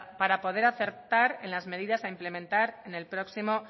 para poder acertar en las medidas a implementar en el próximo